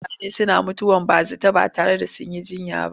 Mutane suna mutuwar bazata ba tare da sun yi jiyya ba.